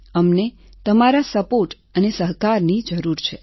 અમને તમારા સપોર્ટ અને સહકારની જરૂર છે